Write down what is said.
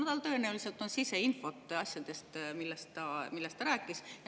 Tal tõenäoliselt on siseinfot asjadest, millest ta rääkis.